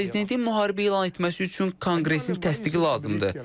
Prezidentin müharibə elan etməsi üçün konqresin təsdiqi lazımdır.